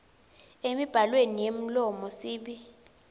emibhalweni yemlomo sib